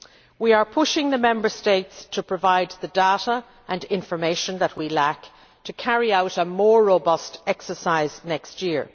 We are pushing the Member States to provide the data and information that we lack to carry out a more robust exercise next year.